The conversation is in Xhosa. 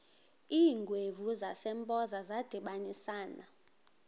iingwevu zasempoza zadibanisana